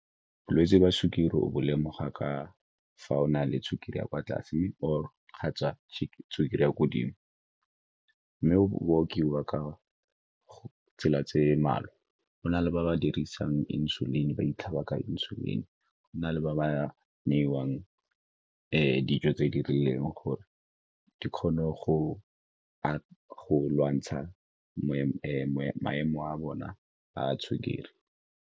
Bolwetse jwa sukiri o bo lemoga ka fa o na le sukiri ya kwa tlase or kgotsa sukiri ya ko godimo. Mme bo bolokiwa ka tsela tse mmalwa, go na le ba ba dirisang Insulin, ba itlhaba ka Insulin, go na le ba ba newang dijo tse di rileng gore di kgone go lwantsha maemo a bona a sukiri.